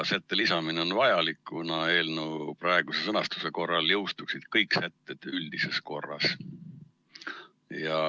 Selle sätte lisamine on vajalik, kuna eelnõu praeguse sõnastuse korral jõustuksid kõik sätted üldises korras.